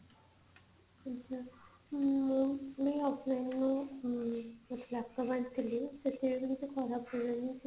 ଆଚ୍ଛା ମୁଁ ମୁଁ online ମୁଁ ମୁଁ laptop ଆଣିଥିଲି ସେଥିରେ ବି କିଛି ଖରାପ ପଡିଲାନି